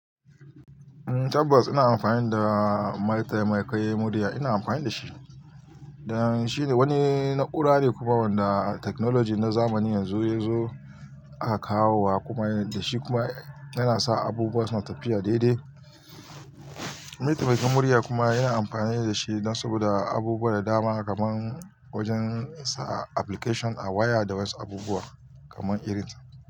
Ummm tabbas ina amfani da mataimakin murya dan shine wani na'ura kuma wanda technology na zamani yanzu yazo a kawo wa dashi kuma yana sa abubuwa suna tafiya daidai. Mataimakin murya kuma yana amfani da shi dan saboda abubuwa da dama kaman wajen sa application a waya da wasu abubuwa kaman irin sa.